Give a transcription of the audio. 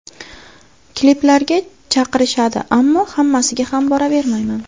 Kliplarga chaqirishadi, ammo hammasiga ham boravermayman.